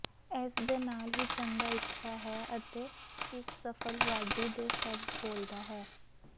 ਇਸ ਦੇ ਨਾਲ ਹੀ ਚੰਗਾ ਇੱਛਾ ਹੈ ਅਤੇ ਇੱਕ ਸਫਲ ਵਾਢੀ ਦੇ ਸ਼ਬਦ ਬੋਲਦਾ ਹੈ